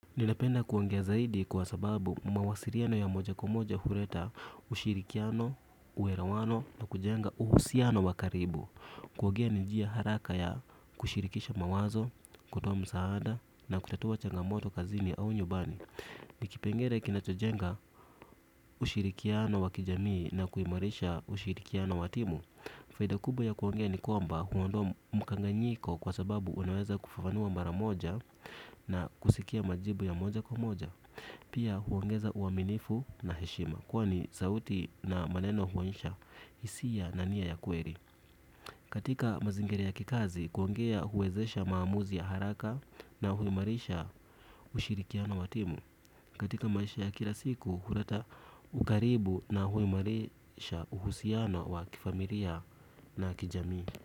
Ninapenda kuongea zaidi kwa sababu mawasiriano ya moja kwa moja hureta ushirikiano, uelewano na kujenga uhusiano wa karibu. Kuogea ni njia haraka ya kushirikisha mawazo, kutoa msaada na kutatua changamoto kazini au nyumbani kipengele kinachojenga ushirikiano wa kijamii na kuimarisha ushirikiano wa timu faida kubwa ya kuongea ni kwamba unaondoa mkanganyiko kwa sababu unaweza kufafanua mara moja na kusikia majibu ya moja kwa moja. Pia huongeza uaminifu na heshima kwani sauti na maneno huonyesha hisia na nia ya kweri. Katika mazingira ya kikazi kuongea huwezesha maamuzi ya haraka na huimarisha ushirikiano wa timu katika maisha ya kira siku hureta ukaribu na huimarisha uhusiano wa kifamiriya na kijamii.